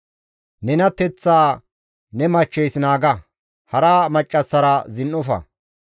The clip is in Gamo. Nenateththaa ne machcheys naaga; hara maccassara zin7ofa.